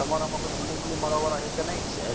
તો તમાર માં ગુલુ વુલી મારવા વાળા હે કે નહિ